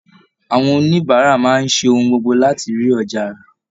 Àwọn oníbàárà máa ń ṣe ohun gbogbo láti rí ọjà rà